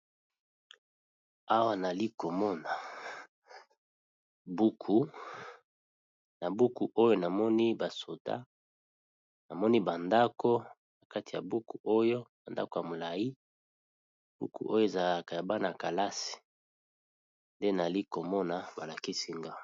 Awa nali komona buku na buku oyo namoni basoda namoni ba ndako na kati ya buku oyo ba ndako ya molayi buku oyo ezalaka ya bana kalasi nde nali komona balakisi nga.